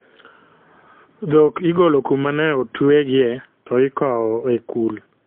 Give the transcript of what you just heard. Dhok igolo kuma ne otwe gi, to ikowo e kul